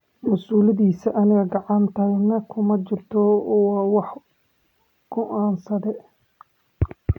Maasuuladhisa anaga kacantanay kumajirto, waaa wuxuu goansadhe.